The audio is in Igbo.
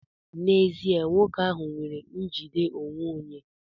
N'ezie, nwoke ahụ nwere njide onwe onye.